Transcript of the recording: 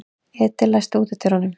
Edil, læstu útidyrunum.